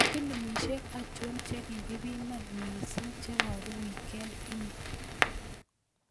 Filimishek achon chekikipiman mising chebaru wikend ini